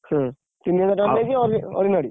ହୁଁ ତିନିହଜାର ଟଙ୍କା ଦେଇକି ~ଅ ordinary ।